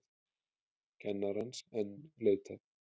Kennarans enn leitað